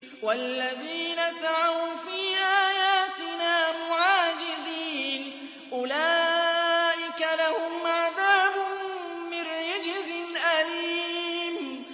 وَالَّذِينَ سَعَوْا فِي آيَاتِنَا مُعَاجِزِينَ أُولَٰئِكَ لَهُمْ عَذَابٌ مِّن رِّجْزٍ أَلِيمٌ